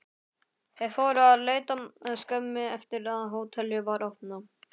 Þeir fóru að leita skömmu eftir að hótelið var opnað.